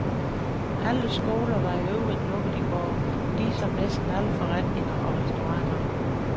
Alle skoler var i øvrigt lukket i går, ligesom næsten alle forretninger og restauranter.